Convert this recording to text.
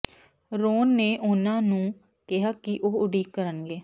Ron ਨੇ ਉਨ੍ਹਾਂ ਨੂੰ ਕਿਹਾ ਕਿ ਉਹ ਉਡੀਕ ਕਰਨਗੇ